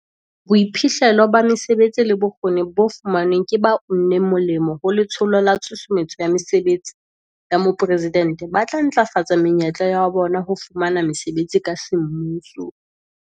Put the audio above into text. Boiphihlello ba mesebetsi le bokgoni bo fumanweng ke ba uneng molemo ho Letsholo la Tshusumetso ya Mesebetsi ya Mopresidente ba tla ntlafatsa menyetla ya bona ya ho fumana mesebetsi ka semmuso.